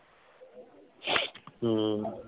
ਹਮ